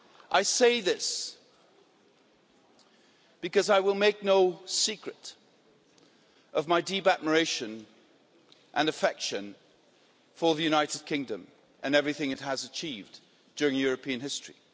I say this because I will make no secret of my deep admiration and affection for the United Kingdom and everything it has achieved during European history.